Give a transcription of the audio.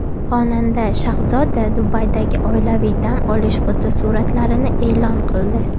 Xonanda Shahzoda Dubaydagi oilaviy dam olish fotosuratlarini e’lon qildi.